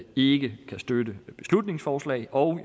ikke kan støtte beslutningsforslaget og